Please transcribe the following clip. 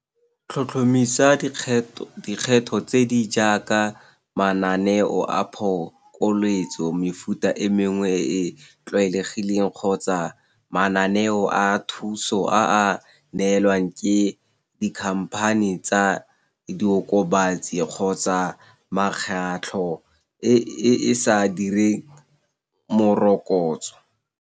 Tlhotlhomisa dikgetho tse di jaaka mananeo a phokoletso mefuta e mengwe e e tlwaelegileng kgotsa mananeo a thuso a a neelwang ke di-company tsa diokobatsi kgotsa mekgatlho e e sa direng morokotso.